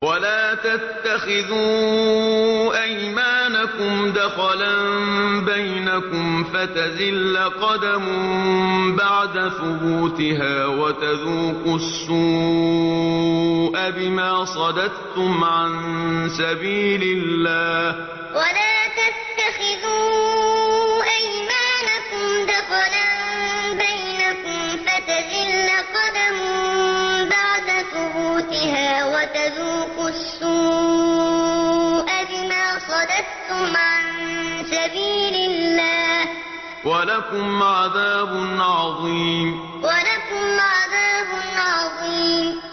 وَلَا تَتَّخِذُوا أَيْمَانَكُمْ دَخَلًا بَيْنَكُمْ فَتَزِلَّ قَدَمٌ بَعْدَ ثُبُوتِهَا وَتَذُوقُوا السُّوءَ بِمَا صَدَدتُّمْ عَن سَبِيلِ اللَّهِ ۖ وَلَكُمْ عَذَابٌ عَظِيمٌ وَلَا تَتَّخِذُوا أَيْمَانَكُمْ دَخَلًا بَيْنَكُمْ فَتَزِلَّ قَدَمٌ بَعْدَ ثُبُوتِهَا وَتَذُوقُوا السُّوءَ بِمَا صَدَدتُّمْ عَن سَبِيلِ اللَّهِ ۖ وَلَكُمْ عَذَابٌ عَظِيمٌ